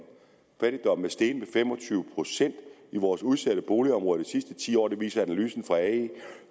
fattigdommen er steget med fem og tyve procent i vores udsatte boligområder de sidste ti år det viser analysen fra ae